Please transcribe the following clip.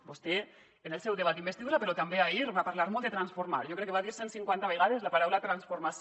vostè en el seu debat d’investidura però també ahir va parlar molt de transformar jo crec que va dir cent cinquanta vegades la paraula transformació